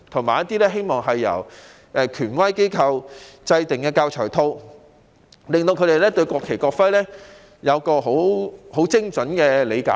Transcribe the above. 我亦希望由權威機構制訂教材套，讓師生對使用國旗、國徽有精準的理解。